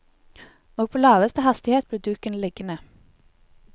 Og på laveste hastighet ble duken liggende.